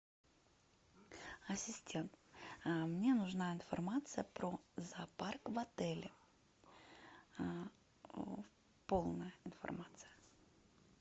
ассистент мне нужна информация про зоопарк в отеле полная информация